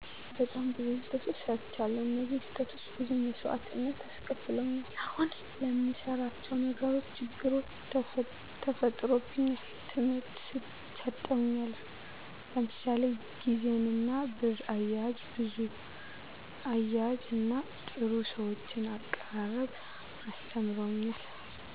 በጣም ብዙ ስተቶች ሰርቻለዉ እነዚህ ስህተቶች ብዙ መሰዋእትነት አስከፍለውኛል አሁን ለምንሰራቸው ነገሮች ችግሮች ተፈጥሮብኛል ትምህርት ሰጠውኛልም ለምሳሌ ግዜንና ብር አያያዝና ጥሩ ሰዎችን አቀራረብ አስተምረውኛል